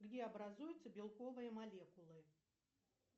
где образуются белковые молекулы